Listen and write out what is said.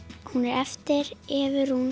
hún er eftir Evu Rún